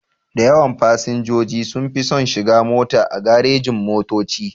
Dayawan fasinjoji sunfi son shiga mota a garejin-motoci.